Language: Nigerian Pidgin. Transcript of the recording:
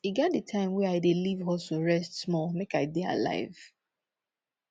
e get di time wey i dey leave hustle rest small make i dey alive